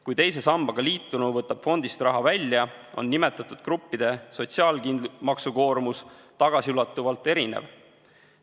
Kui teise sambaga liitunu võtab fondist raha välja, on nimetatud gruppide sotsiaalmaksukoormus tagasiulatuvalt erinev.